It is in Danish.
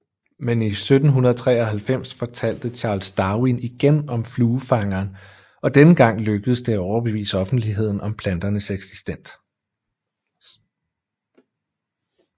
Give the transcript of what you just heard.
Men i 1793 fortalte Charles Darwin igen om fluefangeren og denne gang lykkedes det at overbevise offentligheden om plantens eksistens